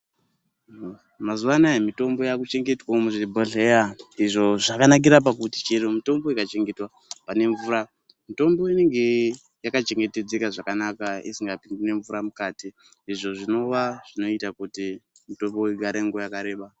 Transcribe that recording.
Mazuwanaya mitombo yakuchengetwawo muzvibhodhleya, izvo zvakanakira pakuti chero mitombo ikachengetwa panemvura mutombo inenge yakachengetedzeka zvakanaka isinga pindiwi nemvura mukati izvo zvinova zvinoita kuti mitombo igare nguva yakareba.